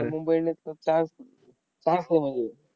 Mumbai indians चा star होणार आहे.